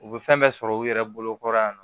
U bɛ fɛn bɛɛ sɔrɔ u yɛrɛ bolokɔrɔ yan nɔ